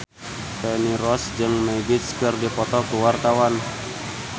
Feni Rose jeung Magic keur dipoto ku wartawan